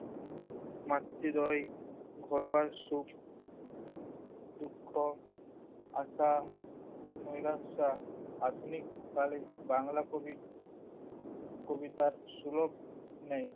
মাতৃদ্বয়ে ঘরোয়া সুখ দুঃখ, আশা, নৈরাশা আধুনিক কালে বাঙলা কবি কবিতার সুলভ নেই।